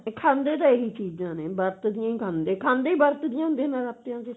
ਖਾਂਦੇ ਤਾਂ ਇਹੀ ਚੀਜ਼ਾਂ ਨੇ ਵਰਤ ਦੀਆਂ ਹੀ ਖਾਂਦੇ ਖਾਂਦੇ ਵਰਤ ਦੀਆਂ ਹੁੰਦੇ ਨਰਾਤਿਆਂ ਵਿੱਚ